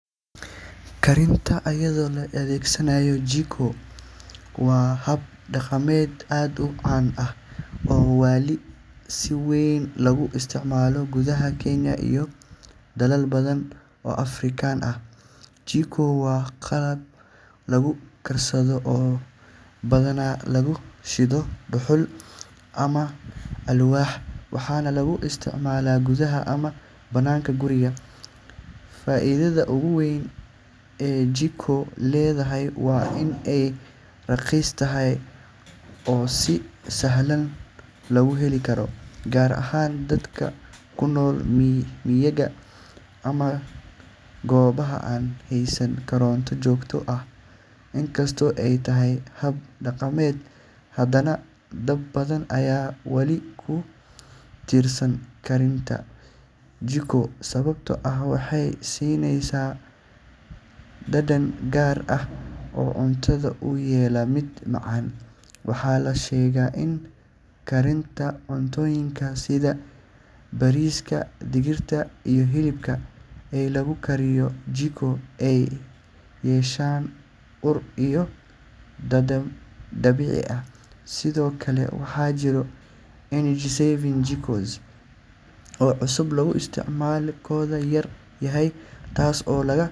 Karinta iyadoo la adeegsanayo jiko waa hab dhaqameed aad u caan ah oo wali si weyn loogu isticmaalo gudaha Kenya iyo dalal badan oo Afrikaan ah. Jiko waa qalab lagu karsado oo badanaa lagu shido dhuxul ama alwaax, waxaana lagu isticmaalaa gudaha ama banaanka guryaha. Faa’iidada ugu weyn ee jiko leedahay waa in ay raqiis tahay oo si sahlan loo heli karo, gaar ahaan dadka ku nool miyiga ama goobaha aan haysan koronto joogto ah. Inkastoo ay tahay hab dhaqameed, haddana dad badan ayaa wali ku tiirsan karinta jiko sababtoo ah waxay siinaysaa dhadhan gaar ah oo cuntooyinka u yeela mid macaan. Waxaa la sheegaa in karinta cuntooyinka sida bariiska, digirta, iyo hilibka ee lagu kariyo jiko ay yeeshaan ur iyo dhadhan dabiici ah. Sidoo kale, waxaa jira energy-saving jikos oo cusub oo isticmaalkooda yar yahay, taas oo.